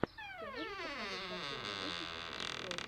ты можешь показать последний выпуск футброз